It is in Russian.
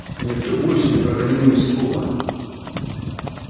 никто больше не проронил ни слова